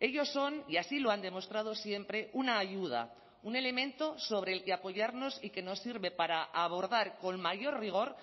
ellos son y así lo han demostrado siempre una ayuda un elemento sobre el que apoyarnos y que nos sirve para abordar con mayor rigor